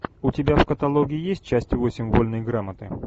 у тебя в каталоге есть часть восемь вольной грамоты